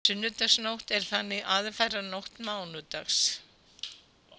Sunnudagsnótt er þannig aðfaranótt mánudags.